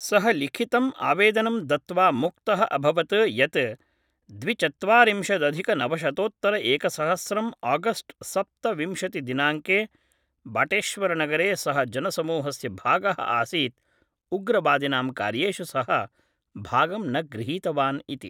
सः लिखितम् आवेदनं दत्त्वा मुक्तः अभवत् यत् द्विचत्वारिंशदधिकनवशतोत्तरएकसहस्रं आगस्ट् सप्तविंशतिदिनाङ्के बाटेश्वरनगरे सः जनसमूहस्य भागः आसीत् उग्रवादिनां कार्येषु सः भागं न गृहीतवान् इति